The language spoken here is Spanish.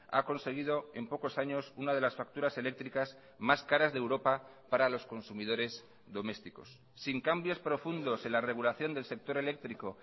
ha conseguido en pocos años una de las facturas eléctricas más caras de europa para los consumidores domésticos sin cambios profundos en la regulación del sector eléctrico